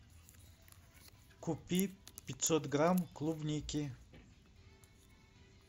купи пятьсот грамм клубники